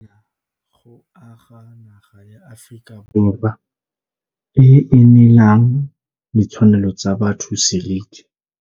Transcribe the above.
Go kgaratlhela go aga naga ya Aforika Borwa e e neelang ditshwanelo tsa botho seriti.